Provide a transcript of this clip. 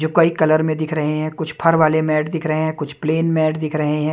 जो कई कलर में दिख रहे हैं कुछ फर वाले मैट दिख रहे हैं कुछ प्लेन मैट दिख रहे है।